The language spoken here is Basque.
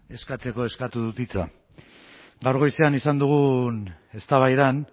eskatzeko eskatu dut hitza gaur goizean izan dugun eztabaidan